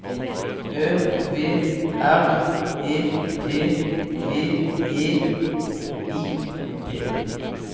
Ø V R E T V E I T